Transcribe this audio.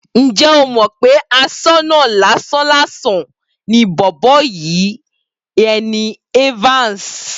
Ǹjẹ́ o mọ̀ pé aṣọ́nà lásán-làsàn ni bọ̀bọ́ yìí ni Evans?